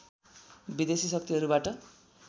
विदेशी शक्तिहरूबाट